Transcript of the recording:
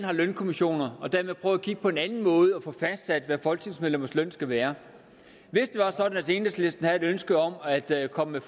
har lønkommissioner og dermed kigge på en anden måde til at få fastsat hvad folketingsmedlemmers løn skal være hvis det var sådan at enhedslisten havde et ønske om at at komme med